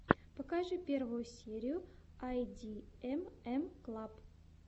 покажи первую серию айдиэмэм клаб